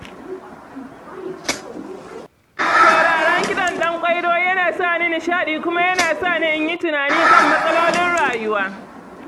Sauraron kiɗan dan Ƙwairo yana sa ni nishaɗi kuma yana sa ni yin tunani kan matsalolin rayuwa.